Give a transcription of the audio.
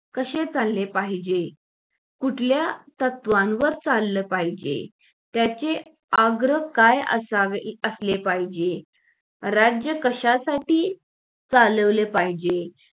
कशे चालले पाहिजे कुठल्या तत्वांवर चाललं पाहिजे त्याचे अग्र काय असले पाहिजे राज्य कशासाठी चालवले पाहिजे